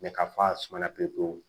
ka fa suma pewu pewu